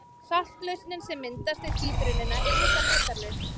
Saltlausnin sem myndast við títrunina er líka litarlaus.